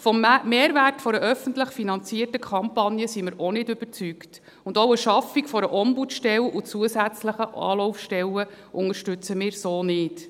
Vom Mehrwert der öffentlich finanzierten Kampagne sind wir auch nicht überzeugt, und auch die Schaffung der Ombudsstelle und zusätzlicher Anlaufstellen unterstützen wir so nicht.